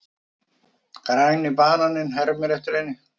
Græni bananinn hermir eftir henni.